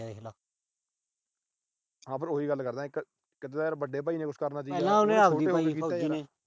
ਆ ਫਿਰ ਉਹੀ ਗੱਲ ਕਰਦਾ ਇਕ ਤਾਂ ਯਾਰ ਵੱਡੇ ਭਾਈ ਨੇ ਕੁਛ ਕਰਨਾ ਸੀ